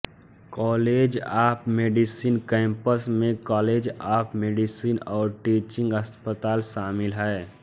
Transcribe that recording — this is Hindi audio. कॉलेज ऑफ मेडिसिन कैंपस में कॉलेज ऑफ मेडिसिन और टीचिंग अस्पताल शामिल है